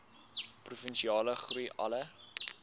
provinsiale groei alle